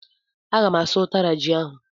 Agam asụ utara ji ahú.